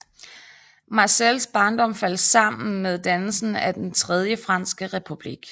Marcels barndom faldt sammen med dannelsen af Den tredje franske republik